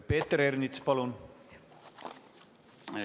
Peeter Ernits, palun!